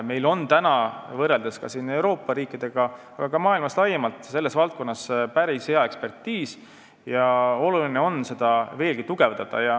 Meil on Euroopa riikidega, aga ka maailma riikidega laiemalt võrreldes päris hea ekspertiis ja seda tuleb veelgi tugevdada.